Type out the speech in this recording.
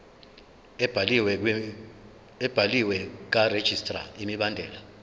ebhaliwe karegistrar imibandela